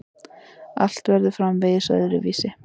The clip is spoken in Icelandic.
Að allt verður framvegis öðruvísi.